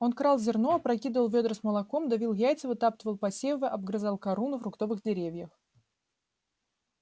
он крал зерно опрокидывал вёдра с молоком давил яйца вытаптывал посевы обгрызал кору на фруктовых деревьях